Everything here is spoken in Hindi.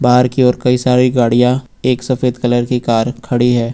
कार की ओर कई सारी गाड़ियां एक सफेद कलर की कार खड़ी है।